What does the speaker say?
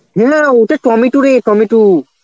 ও না না, ওতো টমেটু রে টমেটু.